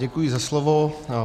Děkuji za slovo.